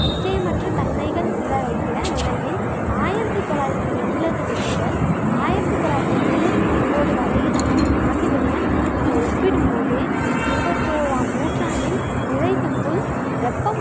நிச்சயமற்ற தன்மைகள் உள்ளடக்கிய நிலையில், ஆயிரத்தி தொள்ளாயிரத்து எண்பதுல இருந்து ஆயிரத்தி தொள்ளாயிரத்தி தொண்ணூத்தி ஒன்பது வரையிலான ஆண்டுகளுடன் நம்ம ஒப்பிடும் போது இருபத்தோறாம் நூற்றாண்டின் நிறைவுக்குள் வெப்பம்